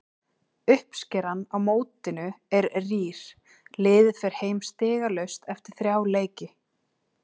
Uppskeran á mótinu er rýr, liðið fer heim stigalaust eftir þrjá leiki.